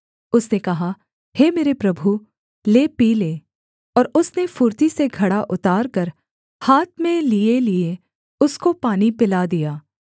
उसने कहा हे मेरे प्रभु ले पी ले और उसने फुर्ती से घड़ा उतारकर हाथ में लियेलिये उसको पानी पिला दिया